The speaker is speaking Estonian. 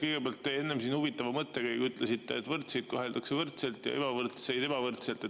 Kõigepealt, te enne ütlesite siin huvitava mõttekäigu, et võrdseid koheldakse võrdselt ja ebavõrdseid ebavõrdselt.